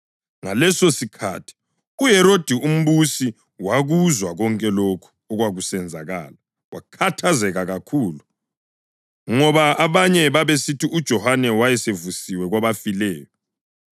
Ngalesosikhathi uHerodi umbusi wakuzwa konke lokho okwakusenzakala. Wakhathazeka kakhulu ngoba abanye babesithi uJohane wayesevusiwe kwabafileyo,